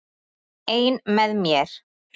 Ein með mér.